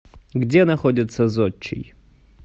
где находится зодчий